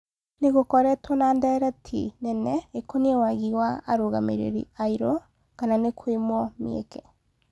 Nĩ gũkoretwo na ndereti nene ĩ koniĩ wagi wa arũgamĩ rĩ ri airũ kana nĩ kũimwo mĩ eke